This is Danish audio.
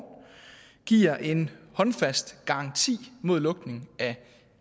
giver en håndfast garanti mod lukning af